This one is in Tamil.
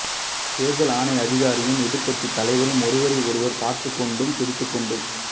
தேர்தல் ஆணைய அதிகாரியும் எதிர்க்கட்சி தலைவரும் ஒருவரை ஒருவர் பார்த்துக்கொண்டும் சிரித்துக்கொண்டும்